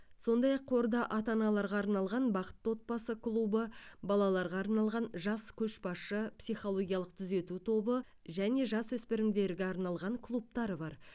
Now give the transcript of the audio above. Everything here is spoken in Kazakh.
сондай ақ қорда ата аналарға арналған бақытты отбасы клубы балаларға арналған жас көшбасшы психологиялық түзету тобы және жасөспірімдерге арналған клубтар бар